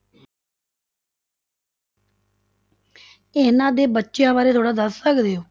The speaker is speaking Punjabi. ਇਹਨਾਂ ਦੇ ਬੱਚਿਆਂ ਬਾਰੇ ਥੋੜ੍ਹਾ ਦੱਸ ਸਕਦੇ ਹੋ?